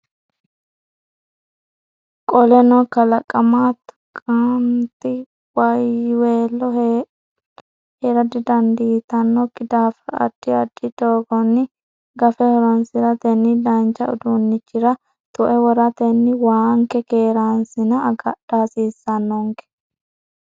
Qoleno kalaqama tuqanti wayweello hee dandiitannokki daafira addi addi doogonni gafe horoonsiratenni danchu uduunnichira tue woratenni waanke keereensanna agadha hasiissannonke.